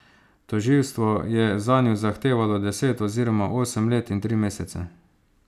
Tožilstvo je zanju zahtevalo deset oziroma osem let in tri mesece.